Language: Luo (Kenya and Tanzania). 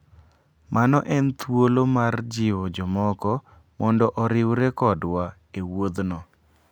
Mano en thuolo mar jiwo jomoko mondo oriwre kodwa e wuodhno.